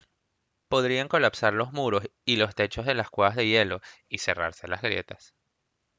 podrían colapsar los muros y los techos de las cuevas de hielo y cerrarse las grietas